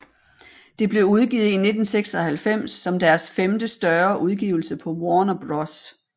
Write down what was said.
Det blev udgivet i 1996 som deres femte større udgivelse på Warner Bros